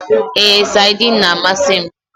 Èé, saidin na amasị m